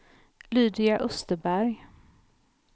Lydia Österberg